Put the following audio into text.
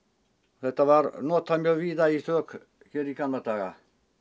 þetta var notað víða í þök í gamla daga